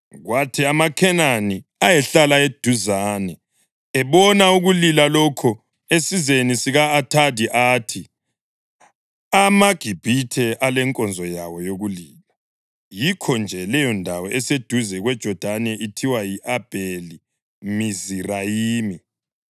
Kwathi amaKhenani ayehlala eduzane ebona ukulila lokho esizeni sika-Athadi athi, “AmaGibhithe alenkonzo yawo yokulila.” Yikho-nje leyondawo eseduze kweJodani ithiwa yi-Abheli-Mizirayimi.